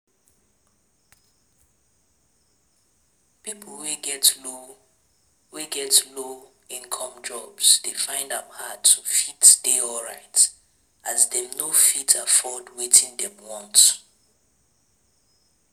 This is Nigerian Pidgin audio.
Pipo wey get low wey get low income jobs de find am hard to fit dey alright as dem no fit afford wetin dem want